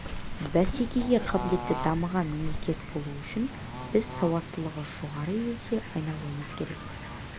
бәсекеге қабілетті дамыған мемлекет болу үшін біз сауаттылығы жоғары елге айналуымыз керек